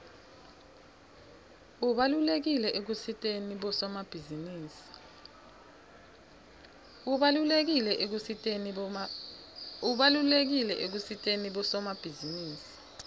ubalulekile ekusiteni bosomabhizinisi